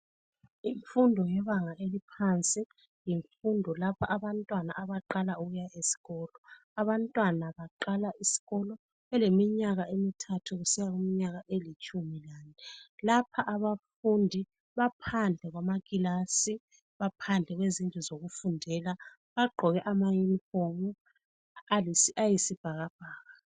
Imfundo yebanga eliphansi yimfundo lapha abantwana abaqala ukuya esikolo. Abantwana baqala isikolo beleminyaka emithathu kusiya kwelitshumi lanye. Lapha abafundi baphandle kwamaklasi , baphandle kwezindlu zokufundela. Bagqoke ama uniform ayisibhakabhaka.